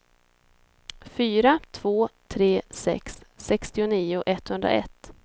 fyra två tre sex sextionio etthundraett